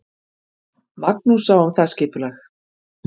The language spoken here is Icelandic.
Magnús sá um það skipulag.